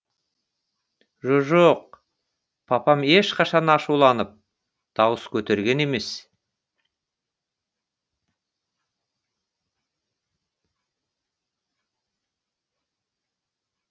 жо жоқ папам ешқашан ашуланып дауыс көтерген емес